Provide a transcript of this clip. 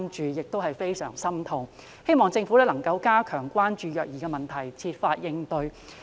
我感到非常痛心，希望政府能夠加強關注虐兒問題並設法應對。